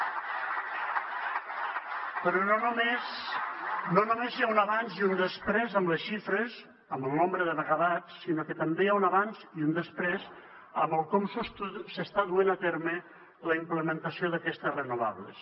però no només hi ha un abans i un després en les xifres en el nombre de megawatts sinó que també hi ha un abans i un després en el com s’està duent a terme la implementació d’aquestes renovables